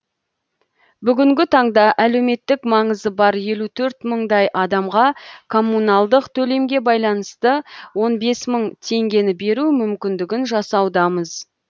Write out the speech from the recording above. бүгінгі таңда әлеуметтік маңызы бар елу төрт мыңдай адамға коммуналдық төлемге байланысты он бес мың теңгені беру мүмкіндігін жасаудамыз